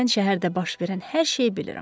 Mən şəhərdə baş verən hər şeyi bilirəm.